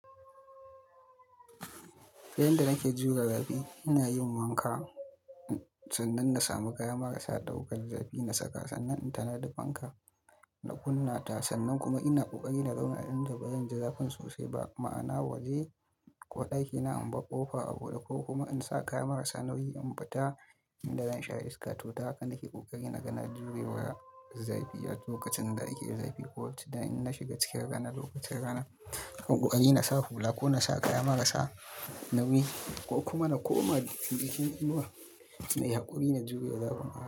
Ta yadda nake jure rafi, ina yin wanka sannan na sami kaya marasa ɗaukar zafi na saka sannan in ta nadi fanka na kunna ta sannan kuma ina ƙoƙari na zauna a inda ba zan ji zafin sosai ba. Ma'ana a waje ko ɗakina in ba ƙofa a buɗe ko kuma in sa kaya marasa nauyi in bata inda zan sha iska. To tahaka nake ƙoƙari na ga na jure wa zafi a lokacin da ake zafi but inna shiga cikin rana lokacin rana. Ƙoƙari na sa hula ko na sa kaya marasa nauyi ko kuma na koma jikin inuwa na yi haƙuri na jure zafin.